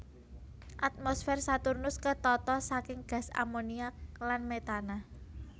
Atmosfer Saturnus ketata saking gas amoniak lan metana